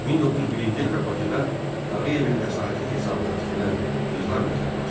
1901-ci ildə Bakıda Tağıyevin vəsaiti hesabına tikilən Qızlar məktəbi açıldı.